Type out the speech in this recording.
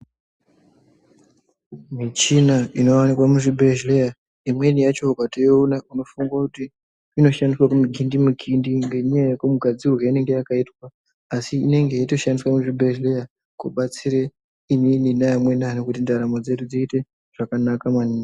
Michina inowanikwa muzvibhedhleya imweni yacho ukatoiona unofunga kuti inoshandiswa kumugindimukindi ngenyaya yemugadzirirwe wainenge yakaitwa. Asi inenge yeitoshandiswa muzvibhehleya kubatsira kuti inini neamweni anhu kuti ndaramo dzedu dziite zvakanaka maningi.